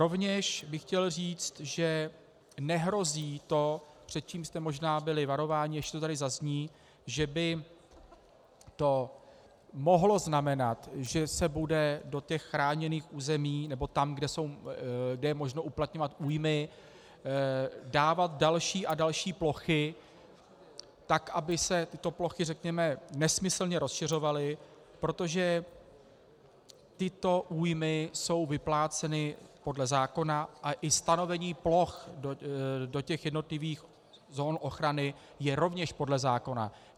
Rovněž bych chtěl říct, že nehrozí to, před čím jste možná byli varováni, než to tady zazní, že by to mohlo znamenat, že se bude do těch chráněných území, nebo tam, kde je možno uplatňovat újmy, dávat další a další plochy tak, aby se tyto plochy, řekněme, nesmyslně rozšiřovaly, protože tyto újmy jsou vypláceny podle zákona, a i stanovení ploch do těch jednotlivých zón ochrany je rovněž podle zákona.